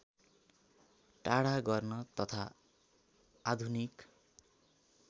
टाढा गर्न तथा आधुनिक